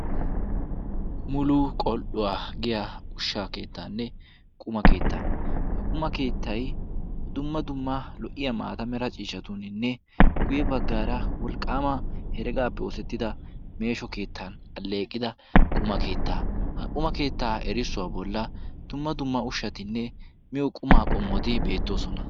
Mulu qol"uwaa giya ushsha keettaanne quma keetta ha quma keettay dumma dumma lo"iya maatame ra ciishatuuninne guyye baggaara wolqqaama heregaappe oosettida meesho keettan alleeqida quma keettaa. ha quma keettaa erissuwaa bolla dumma dumma ushshatinne miyo qumaa qommoti beettoosona.